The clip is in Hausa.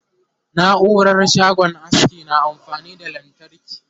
naurar shagon aski na amfani da lantarki